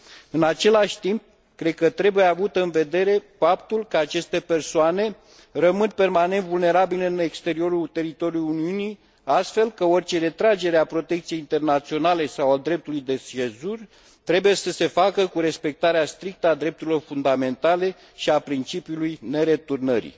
În același timp, cred că trebuie avut în vedere faptul că aceste persoane rămân permanent vulnerabile în exteriorul teritoriului Uniunii, astfel că orice retragere a protecției internaționale sau a dreptului de sejur trebuie să se facă cu respectarea strictă a drepturilor fundamentale și a principiului nereturnării.